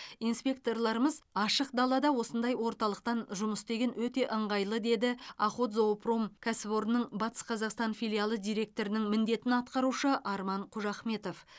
инспекторларымыз ашық далада осындай орталықтан жұмыс істеген өте ыңғайлы деді охотзоопром кәсіпорнының батыс қазақстан филиалы директорының міндетін атқарушы арман қожахметов